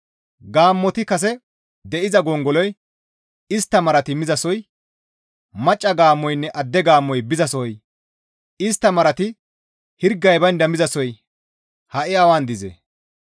Gaammoti kase de7iza gongoloy, istta marati mizasoy, macca gaammoynne adde gaammoy bizasohoy, istta marati hirgay baynda mizasoy ha7i awan dizee?